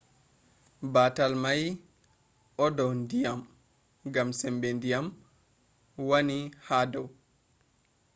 batal mai o dau ndyiam gam sembe diyam wani ha dou